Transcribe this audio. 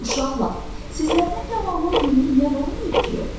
Uşaqlar, sizlərdən gavallının birini yeyən olmayıb ki?